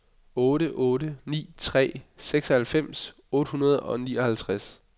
otte otte ni tre seksoghalvfems otte hundrede og nioghalvtreds